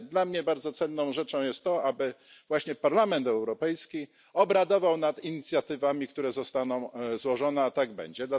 Ale dla mnie bardzo cenną rzeczą jest to, aby właśnie Parlament Europejski obradował nad inicjatywami, które zostaną złożone. I tak będzie.